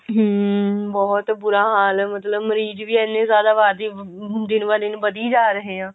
hm ਬਹੁਤ ਬੁਰਾ ਹਾਲ ਮਤਲਬ ਮਰੀਜ਼ ਵੀ ਇੰਨੇ ਜਿਆਦਾ ਆਬਾਦੀ hm ਦਿਨ ਵਾ ਦਿਨ ਵਧੀ ਜਾ ਰਹੇ ਆ